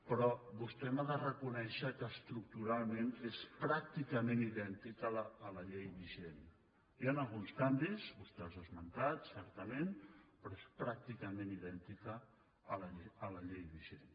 però vostè m’ha de reconèixer que estructuralment és pràcticament idèntica a la llei vigent hi han alguns canvis vostè els ha esmentat certament però és pràcticament idèntica a la llei vigent